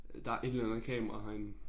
Øh der et eller andet kamera herinde